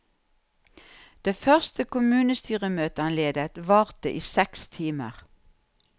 Det første kommunestyremøte han ledet, varte i seks timer.